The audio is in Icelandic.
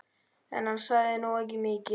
En hann sagði nú ekki mikið.